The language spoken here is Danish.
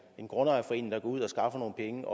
en grundejerforening der går ud og skaffer nogle penge